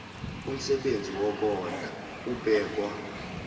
umsebenzi wokondla ubekwa